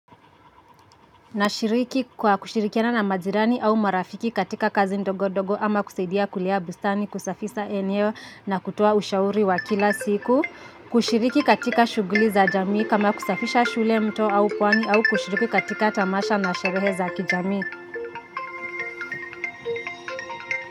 Nashiriki kwa kushirikiana na majirani au marafiki katika kazi ndogodogo ama kusaidia kulea bustani kusafisa eneo na kutoa ushauri wa kila siku. Kushiriki katika shuguli za jamii kama kusafisha shule mto au pwani au kushiriki katika tamasha na sherehe za kijamii.